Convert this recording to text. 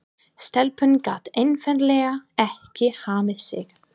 Stelpan gat einfaldlega ekki hamið sig.